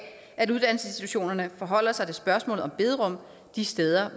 at uddannelsesinstitutionerne forholder sig til spørgsmålet om bederum de steder